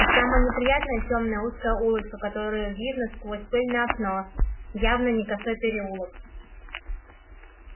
и самое неприятное тёмная узкая улочка которую видно сквозь пыльное окно явно не косой переулок